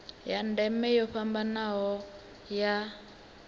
ya ndeme yo fhambanaho ya